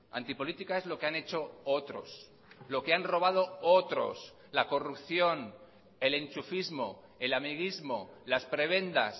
antipolítica es lo que han hecho otros lo que han robado otros la corrupción el enchufismo el amiguismo las prebendas